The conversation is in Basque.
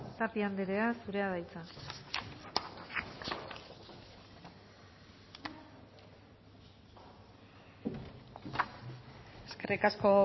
tapia andrea zurea da hitza eskerrik asko